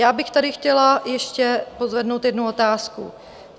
Já bych tady chtěla ještě pozvednout jednu otázku.